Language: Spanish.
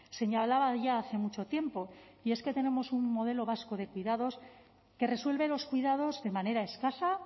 señalaba ya hace mucho tiempo y es que tenemos un modelo vasco de cuidados que resuelve los cuidados de manera escasa